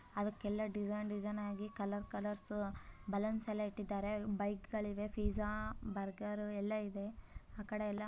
ಅದಕೆಲ್ಲ design design ಆಗಿ colour colours ಬಲೂನ್ಸ್ಗ ಳೆಲ್ಲಾ ಇಟ್ಟಿದ್ದಾರೆ ಬೈಕ್ಗ ಳಿವೆ ಪಿಜ್ಜಾ ಬರ್ಗರ್ ಎಲ್ಲಾಇದೆ ಆಕಡೆ ಎಲ್ಲಾ --